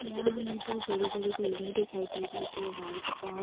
यहां हमें दो बड़ी-बड़ी बिल्डिंग दिखाई दे रही है जो वाइट और--